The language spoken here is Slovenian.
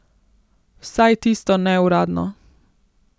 Vsaj tisto neuradno.